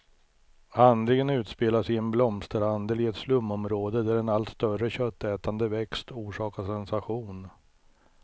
Handlingen utspelas i en blomsterhandel i ett slumområde, där en allt större köttätande växt orsakar sensation.